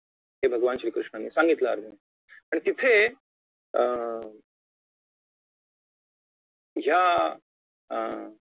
हे भगवान श्री कृष्णांनी सांगितलं अर्जुनाला आणि तिथे अं ह्या अं